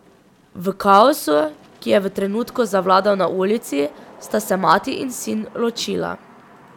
V kaosu, ki je v trenutku zavladal na ulici, sta se mati in sin ločila.